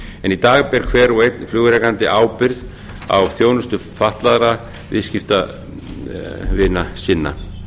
en í dag ber hver og einn flugrekandi ábyrgð á þjónustu fatlaðra viðskiptavina sinna